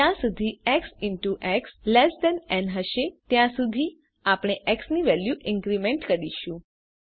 જ્યાં સુધી x in to x less than ન હશે ત્યાં સુધી આપણે એક્સ ની વેલ્યુ ઇન્ક્રીમેન્ટ કરીશું